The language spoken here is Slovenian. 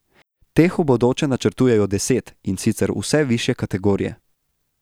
Teh v bodoče načrtujejo deset, in sicer vse višje kategorije.